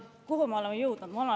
Kuhu me oleme jõudnud?